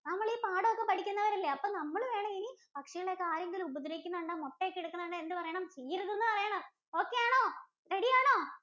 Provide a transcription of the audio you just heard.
നമ്മള് ഈ പാഠം ഒക്കെ പഠിക്കുന്നവർ അല്ലേ? അപ്പൊ നമ്മൾ വേണം ഇനി പക്ഷികളെ ഒക്കെ ആരെങ്കിലും ഉപദ്രവിക്കുന്നെ കണ്ടാൽ മുട്ട ഒക്കെ എടുക്കുന്നെ കണ്ടാൽ എന്ത് പറയണം? ചെയ്യരുതെന്ന് പറയണം. okay ആണോ? ready ആണോ?